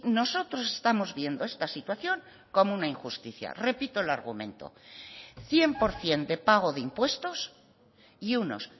nosotros estamos viendo esta situación como una injusticia repito el argumento cien por ciento de pago de impuestos y unos